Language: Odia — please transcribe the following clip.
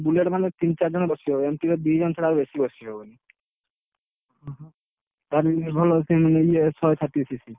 Bullet ମାନେ ତିନି ଚାରିଜଣ ବସିବ। MT ରେ ଦିଜଣ ଛଡା ଆଉ ବେଶୀ ବାସି ହବନି, ତାଠୁ ଭଲ, ସିଏ ମାନେ ଇଏ thirty six